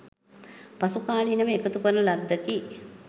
පසුකාලීනව එකතු කරන ලද්දකි.